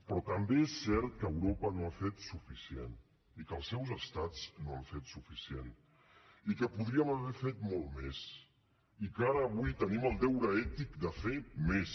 però també és cert que europa no ha fet suficient i que els seus estats no han fet suficient i que podríem haver fet molt més i que ara avui tenim el deure ètic de fer més